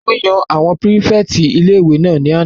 Wọ́n yan àwọn pírífẹ̀tì ilé-ìwé náà ní àná